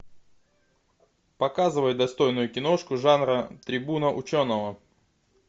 показывай достойную киношку жанра трибуна ученого